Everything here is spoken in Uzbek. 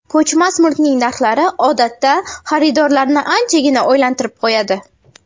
Ko‘chmas mulkning narxlari, odatda, xaridorlarni anchagina o‘ylantirib qo‘yadi.